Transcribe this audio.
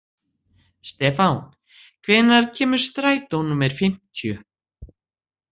Stefan, hvenær kemur strætó númer fimmtíu?